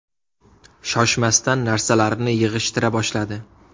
Shoshmasdan narsalarini yig‘ishtira boshladi.